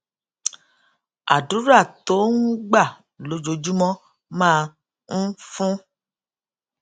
àdúrà tó ń gbà lójoojúmó máa ń fún